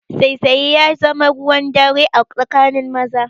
Saisaye ya zama ruwan dare a tsakanin maza